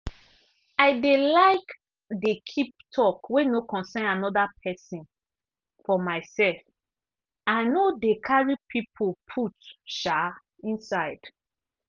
i dey like dey keep talk wey no concern anoda pesin for myself i no dey carry people put um inside.